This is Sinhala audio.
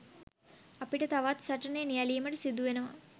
අපිට තවත් සටනේ නියැළීමට සිදුවෙනවා.